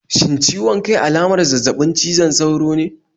Shin ciwon kai alamar zazzabin cizon sauro ne?